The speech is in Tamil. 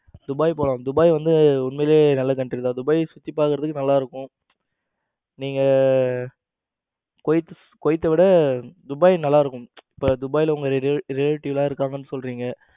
துபாய் போலாம் துபாய் வந்து உண்மையிலேயே நல்ல country தான் துபாய சுத்தி பாக்குறதுக்கு நல்லா இருக்கும். நீங்க குவைத்த விட துபாய் நல்லா இருக்கும் இப்ப துபாய்ல உங்க relative இருக்காங்கன்னு சொல்றீங்க